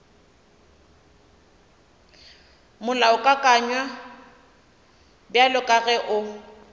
molaokakanywa bjalo ka ge o